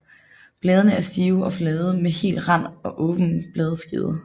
Bladene er stive og flade med hel rand og åben bladskede